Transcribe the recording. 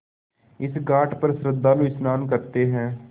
इस घाट पर श्रद्धालु स्नान करते हैं